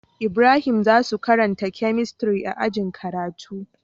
Ibrahim zasuyi karanta chemistry a ajin karatu